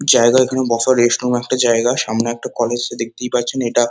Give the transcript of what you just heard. জায়গা এখানে বসার রেস্ট নেওয়ার একটা জায়গা। সামনে একটা কলেজ সে দেখতেই পাচ্ছেন। এটা--